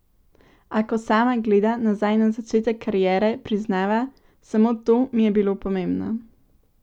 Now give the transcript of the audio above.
A ko sama gleda nazaj na začetek kariere, priznava: "Samo to mi je bilo pomembno.